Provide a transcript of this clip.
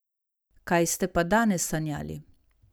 Kaj ste pa danes sanjali?